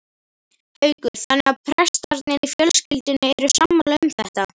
Haukur: Þannig að prestarnir í fjölskyldunni eru sammála um þetta?